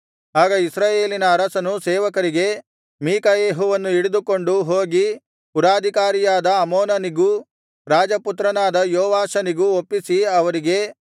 ಆಗ ಇಸ್ರಾಯೇಲಿನ ಅರಸನು ಸೇವಕರಿಗೆ ಮೀಕಾಯೆಹುವನ್ನು ಹಿಡಿದುಕೊಂಡು ಹೋಗಿ ಪುರಾಧಿಕಾರಿಯಾದ ಆಮೋನನಿಗೂ ರಾಜಪುತ್ರನಾದ ಯೋವಾಷನಿಗೂ ಒಪ್ಪಿಸಿ ಅವರಿಗೆ